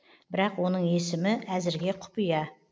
бірақ оның есімі әзірге құпия